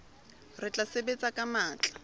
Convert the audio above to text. re tla sebetsa ka matla